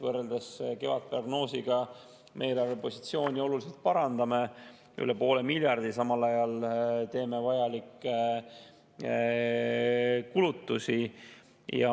Võrreldes kevadprognoosiga me parandame eelarvepositsiooni olulisel määral, üle poole miljardi, ja samal ajal teeme vajalikke kulutusi.